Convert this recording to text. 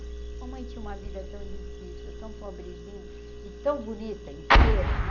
Mamãe tinha uma vida tão difícil, tão pobrezinha e tão bonita, inteira, né?